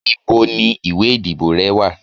ibò ni ìwè ìdíbò re wa?